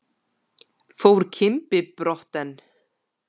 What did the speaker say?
Fór Kimbi brott en